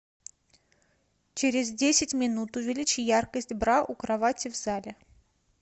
через десять минут увеличь яркость бра у кровати в зале